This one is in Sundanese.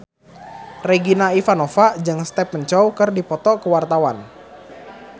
Regina Ivanova jeung Stephen Chow keur dipoto ku wartawan